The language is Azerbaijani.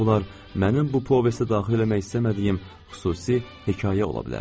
Bütün bunlar mənim bu povestə daxil eləmək istəmədiyim xüsusi hekayə ola bilərdi.